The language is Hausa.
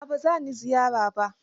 A'a ba za ni ziyarar ba.